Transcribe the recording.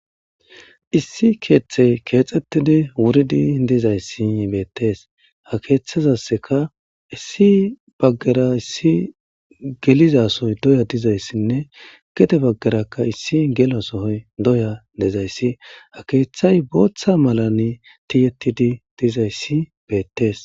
Issi keththey kexxeti wurridi dizzayssi bettes ha keththezassikka issi baggera issi gellizassoy doyya diizaysine gede baggeraka issi gello sohoy dooya diizayssi ha keththay booththa maalan tiyyetidi dizayssi bettes.